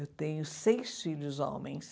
Eu tenho seis filhos homens.